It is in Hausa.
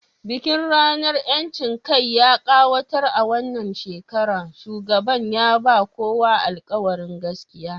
Bikin ranar 'yancin kai ya kayatar a wannan shekara, shugaban ya ba kowa alƙawarin gaske